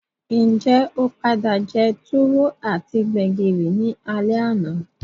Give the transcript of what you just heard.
Njé o padà je tuwo ati gbẹ̀gìrì ni alé àná?